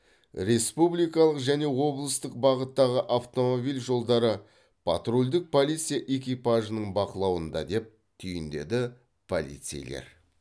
республикалық және облыстық бағыттағы автомобиль жолдары патрульдік полиция экипажының бақылауында деп түйіндеді полицейлер